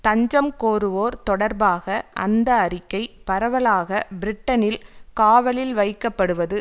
தஞ்சம் கோருவோர் தொடர்பாக அந்த அறிக்கை பரவலாக பிரிட்டனில் காவலில் வைக்கப்படுவது